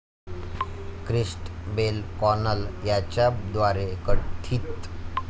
Christabel Connell यांच्याद्वारे कथित